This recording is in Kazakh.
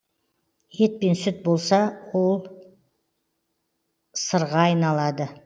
ет пен сүт болса ол сырға айналады